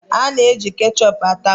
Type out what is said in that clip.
A na-eji kechọpụ ata bọga.